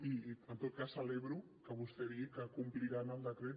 i en tot cas celebro que vostè digui que compliran el decret